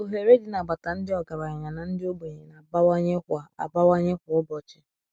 Oghere Dị n’Agbata Ndị Ọgaranya na Ndị Ogbenye Na - abawanye kwa - abawanye kwa ụbochi